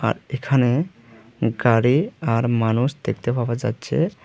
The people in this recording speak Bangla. এখানে গাড়ি আর মানুষ দেখতে পাওয়া যাচ্ছে।